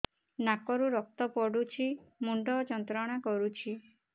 ନାକ ରୁ ରକ୍ତ ପଡ଼ୁଛି ମୁଣ୍ଡ ଯନ୍ତ୍ରଣା କରୁଛି